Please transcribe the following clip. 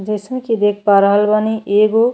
जईसन की देख पा रहल बानी एगो --